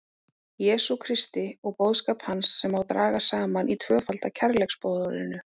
Jesú Kristi og boðskap hans sem má draga saman í tvöfalda kærleiksboðorðinu.